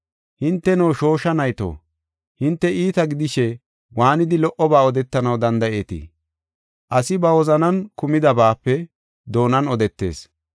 Hinteno, shoosha nayto, hinte iita gidishe waanidi lo77oba odetanaw danda7eetii? Asi ba wozanan kumidabaape doonan odetees.